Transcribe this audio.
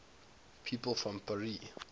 people from paris